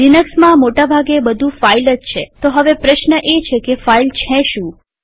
લિનક્સમાં મોટા ભાગે બધું ફાઈલ જ છેતો હવે પ્રશ્ન એ છે કે ફાઈલ છે શું